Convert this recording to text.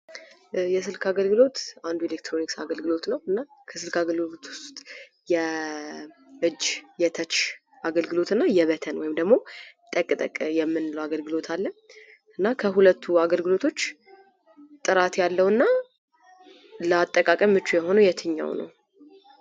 የስልክ አገልግሎት አንዱ የኤለክትሮኒክስ አገልግሎት ነው። እና ከስልክ አገልግሎት ውስጥ የእጅ የተች አገልግሎት እና የበተን ወይም ደግሞ ጠቅጠቅ የምንለው አገልግሎት አለ። ከሁለቱ አገልግሎቶች ጥራት ያለው እና ለአጠቃቀም ምቹ የሆነ የትኛው ነው?